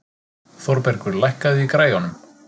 Þórbergur, lækkaðu í græjunum.